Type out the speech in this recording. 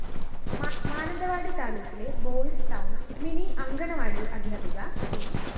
മാനന്തവാടി താലൂക്കിലെ boys town mini anganwadi അദ്ധ്യാപിക P